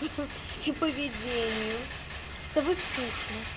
и поведению с тобой скучно